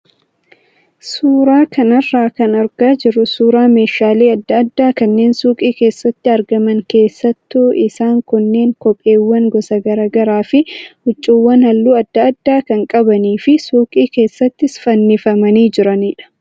Suuraa kanarraa kan argaa jirru suuraa meeshaalee adda addaa kanneen suuqii keessatti argaman keessattuu isaan kunneen kopheewwan gosa garaagaraa fi huccuuwwan halluu adda addaa kan qabanii fi suuqii keessatti fannifamanii jiranidha.